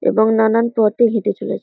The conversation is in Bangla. এবং নানান পথে হেটে চলেছ--